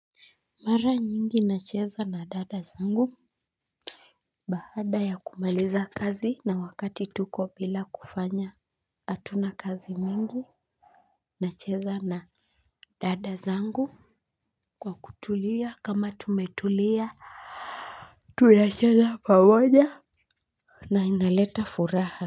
Mara nyingi nacheza na dada zangu. Baada ya kumaliza kazi na wakati tuko bila kufanya hatuna kazi mingi nacheza na dada zangu kwa kutulia kama tumetulia. Tunacheza pamoja na inaleta furaha.